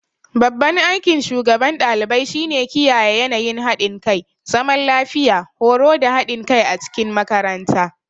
Babban aikin shugaban ɗalibai shine kiyaye yanayin haɗin kai, zaman lafiya, horo da haɗin kai a cikin makaranta.